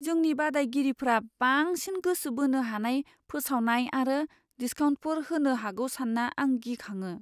जोंनि बादायगिरिफोरा बांसिन गोसो बोनो हानाय फोसावनाय आरो डिस्काउन्टफोर होनो हागौ सानना आं गिखाङो।